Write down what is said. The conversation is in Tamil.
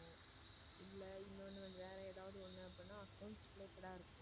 Related ஆ இருக்கும்.